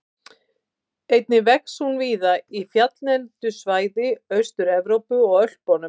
Skaði ekki heilbrigðiskerfið